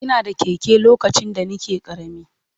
Ina da keke lokacin da nake ƙarami.